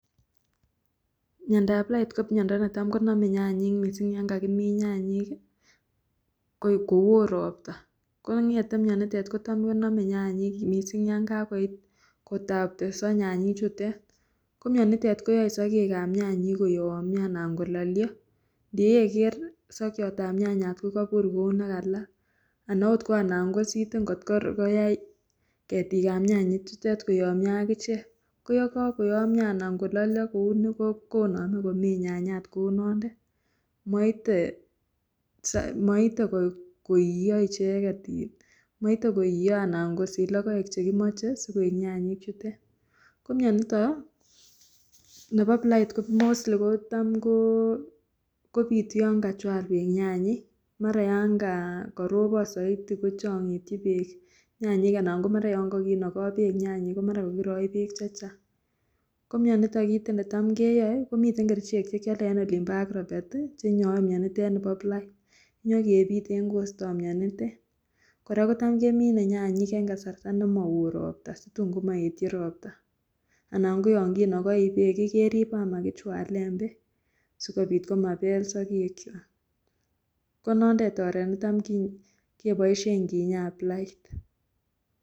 Miondab blight, ko miondo netam konome nyanyek mising ko yan kakimin nyanyek ko won robta, kongete mionitet ko tam konome nyanyek mising ko yan ka koit ko tapteso nyayek chutet, ko mionitet ko yae sogek ab nyayek ko yamyo anan ko lalyo, ye weiker sokiot ab nyanyat ko kabur kou ne kalal, anan ko anan ko siten kot koyai ketik ab nyayek ko yamyo akichek, ko yekakomyo ko uni konome moite ko iyo icheket, anan kosich logoek che kimoche sigoik nyanyek chutet, ko mianito nebo blight ko mostly kotam ko bitu yan kachwal bek nyanyek mara yan ko robon Zaidi ko changityi bek nyanyek anan ko mara yon ka kinoko bek nyayek ko mara Kakirongyi bek chechang, ko mionitet kit netam keyoe, komi kerichek che cham keyole an Agrovet nye kebite ko isto mionitet, kora kocham kemine nyanyek eng kasarta ne mawon robta, situn ko maetyi robta, anan ko yo kinokoi bek ii keribe ama kichwalen bek, sikobit komabel sogek kwak, ko noton oret netam ke boisien kinyoen blight.